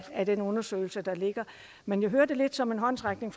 af den undersøgelse der ligger men jeg hører det lidt som en håndsrækning